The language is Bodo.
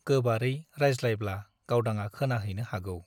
गोबारै रायज्लायब्ला गावदांआ खोनाहैनो हागौ ।